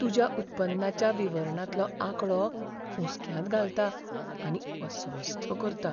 तुज्या उत्पन्नाच्या विवरणांतलो आंकडो हुसक्यांत घालता आनी अस्वस्थ करता.